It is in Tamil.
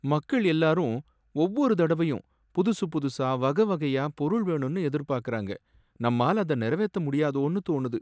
மக்கள் எல்லாரும் ஒவ்வொரு தடவையும் புதுசு புதுசா வகை வகையா பொருள் வேணும்னு எதிர்பார்க்கறாங்க, நம்மால அதை நிறைவேத்த முடியாதோன்னு தோணுது